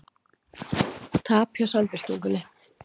Tap hjá Samfylkingunni